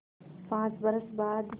पाँच बरस बाद